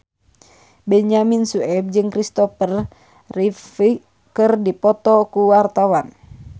Benyamin Sueb jeung Christopher Reeve keur dipoto ku wartawan